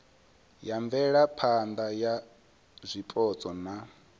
ya mvelaphana ya zwipotso na